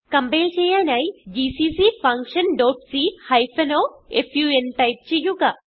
compile ചെയ്യാനായി GCC function dot c hyphen o fun type ചെയ്യുക